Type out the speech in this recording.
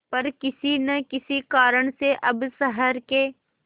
पर किसी न किसी कारण से अब शहर के